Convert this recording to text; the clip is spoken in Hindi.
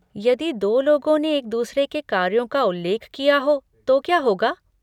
यदि दो लोगों ने एक दूसरे के कार्यों का उल्लेख किया हो तो क्या होगा?